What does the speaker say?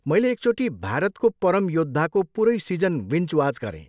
मैले एकचोटि 'भारतको परम योद्धा'को पुरै सिजन बिन्ज वाच गरेँ।